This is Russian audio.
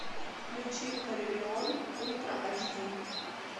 включи карлион ультра айч ди